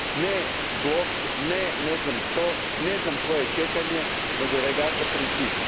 Ne blok, ne ne znam što, ne znam koje čekanje, nego regata princip.